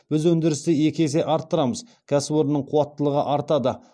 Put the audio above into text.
біз өндірісті екі есе арттырамыз кәсіпорынның қуаттылығы артады